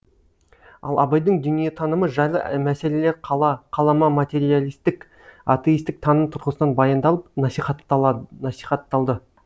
ал абайдың дүниетанымы жайлы мәселелер қала қалама материалистік атеистік таным тұрғысынан баяндалып насихатталды